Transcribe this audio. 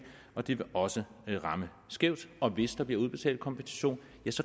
og det vil også ramme skævt og hvis der bliver udbetalt kompensation